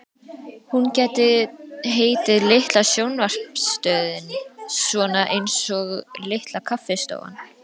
Hún gæti heitið Litla sjónvarpsstöðin, svona einsog Litla kaffistofan.